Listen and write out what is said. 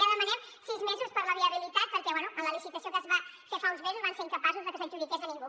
i ara demanem sis mesos per a la viabilitat perquè bé en la licitació que es va fer fa uns mesos van ser incapaços que s’adjudiqués a ningú